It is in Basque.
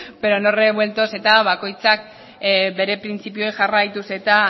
pero no revueltos eta bakoitzak bere printzipioei jarraituz eta